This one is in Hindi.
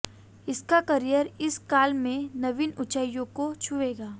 इनका कैरियर इस काल में नवीन ऊंचाइयों को छूएगा